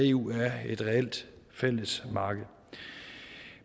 eu er et reelt fællesmarked